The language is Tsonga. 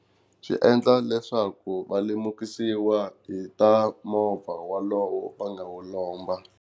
Swi endla leswaku va lemukisiwa hi ta movha wolowo va nga wu lomba.